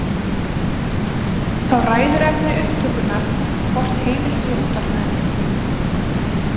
Þá ræður efni upptökunnar því hvort heimilt sé að útvarpa henni.